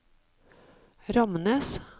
Ramnes